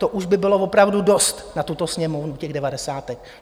To už by bylo opravdu dost na tuto Sněmovnu těch devadesátek.